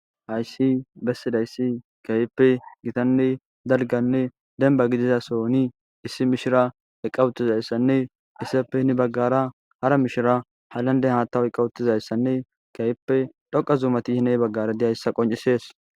Hayssi bessidayssi keehipe gittanne dalgganne dembba gidida sohoni issi mishshira eqqa uttidayssanne hessappe hini bagara hara mishira haylanden haaththa oyqqa utidayssane keehipe xoqa zummati de7iyassa qoncisses.